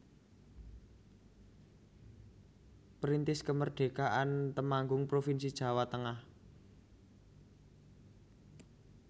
Perintis Kemerdekaan Temanggung provinsi Jawa Tengah